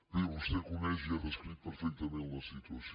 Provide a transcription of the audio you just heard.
bé vostè coneix i ha descrit perfectament la situació